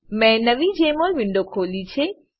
મેં નવી Jmol window ખોલી છે